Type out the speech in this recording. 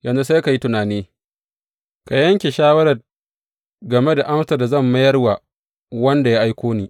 Yanzu, sai ka yi tunani, ka yanke shawarar game da amsar da zan mayar wa wanda ya aiko ni.